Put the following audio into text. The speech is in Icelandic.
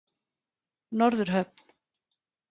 Norðurhöfn